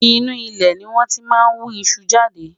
inú ilé ní wón tí má ń wú iṣu jáde